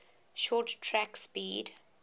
short track speed